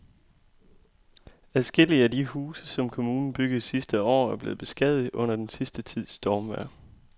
Adskillige af de huse, som kommunen byggede sidste år, er blevet beskadiget under den sidste tids stormvejr.